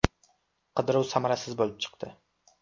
Qidiruv samarasiz bo‘lib chiqdi.